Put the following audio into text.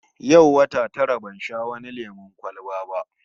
Yau wata tara ban sha wani lemon kwalba ba